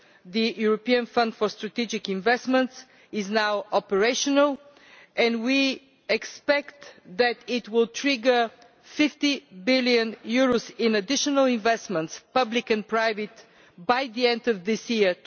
The European Fund for Strategic Investments is now operational, and we expect that it will trigger EUR 50 billion in additional investments public and private by the end of this year,